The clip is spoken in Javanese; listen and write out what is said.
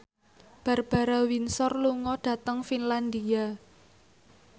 Barbara Windsor lunga dhateng Finlandia